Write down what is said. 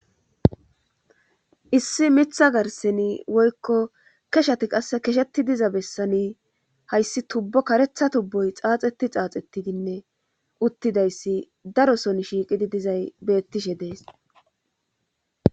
Issi mitha garseni woykko keshati qass kesheti diza bessani hayssi tubbo karetha tubboy xaaxeti xaaxettidinne uttidayssi daro son shiiqidi dizay bettishe dees